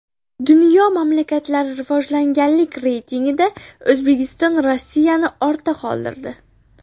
Dunyo mamlakatlari rivojlanganlik reytingida O‘zbekiston Rossiyani ortda qoldirdi.